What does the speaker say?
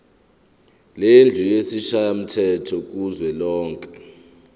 lendlu yesishayamthetho kuzwelonke